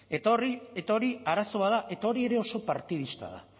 eta hori arazo bat da eta hori ere oso partidista da